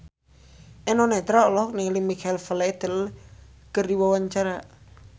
Eno Netral olohok ningali Michael Flatley keur diwawancara